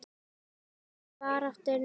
Harðri baráttu er nú lokið.